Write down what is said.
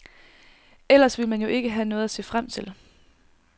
Ellers ville man jo ikke have noget at se frem til.